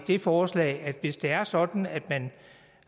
det forslag at hvis det er sådan at man